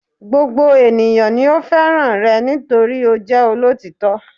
Gbogbo ènìyàn ni ó fẹ́ràn rẹ̀ nítorí ó jẹ́ olótítọ́